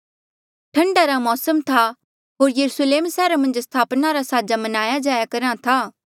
ठंडा रा मौसम था होर यरुस्लेम सैहरा मन्झ स्थापना रा साजा मनाया जाया करहा था